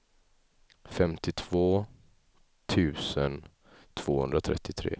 femtiotvå tusen tvåhundratrettiotre